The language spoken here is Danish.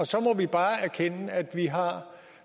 så må vi bare erkende at vi har